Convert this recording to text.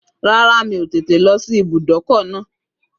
Rárá, mi ò tètè lọ sí ibùdókọ̀ náà